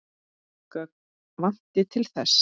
Gögn vanti til þess.